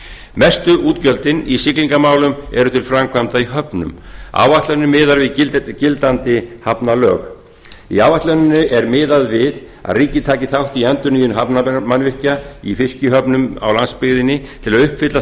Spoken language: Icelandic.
mestu útgjöldin í siglingamálum eru til framkvæmda í höfnum áætlanir miða við gildandi hafnalög í áætluninni er miðað við að ríkið taki þátt í endurnýjun hafnarmannvirkja í fiskihöfnum á landsbyggðinni til að uppfylla